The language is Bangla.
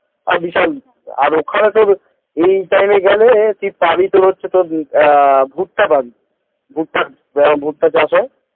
ও বিশাল আর ওখানে তোর এই time গেলে তুই পাবি হচ্ছে তোর ভুট্টা পাবি ভুট্টা ভুট্টা চাষ হয়